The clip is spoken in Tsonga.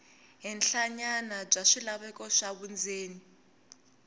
henhlanyana bya swilaveko swa vundzeni